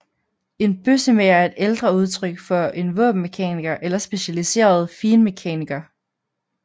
En bøssemager er et ældre udtryk for en våbenmekaniker eller specialiseret finmekaniker